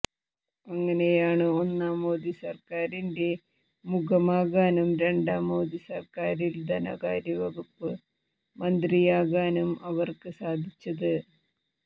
അങ്ങനെയാണ് ഒന്നാം മോദി സർക്കാരിന്റെ മുഖമാകാനും രണ്ടാം മോദി സർക്കാരിൽ ധനകാര്യ വകുപ്പ് മന്ത്രിയാകാനും അവർക്ക് സാധിച്ചത്